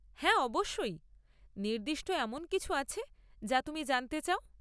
হ্যাঁ অবশ্যই। নির্দিষ্ট এমন কিছু আছে যা তুমি জানতে চাও?